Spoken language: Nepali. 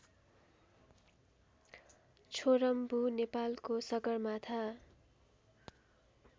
छोरम्बु नेपालको सगरमाथा